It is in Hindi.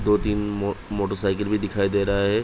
दो तीन मोटरसाईकिल भी दिखाई दे रहा हैं।